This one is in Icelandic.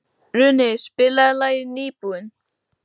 Runi, spilaðu lagið „Nýbúinn“.